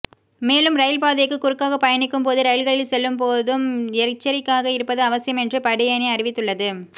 மேலும் ரயில் பாதைக்குக் குறுக்காக பயணிக்கும் போதும் ரயில்களில் செல்லும் போதும் எச்சரிக்கையாக இருப்பது அவசியம் என்றும் படையணி அறிவித்துள்ளது